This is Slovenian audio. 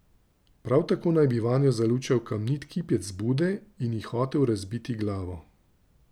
Prav tako naj bi vanjo zalučal kamniti kipec Bude in ji hotel razbiti glavo.